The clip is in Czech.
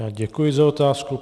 Já děkuji za otázku.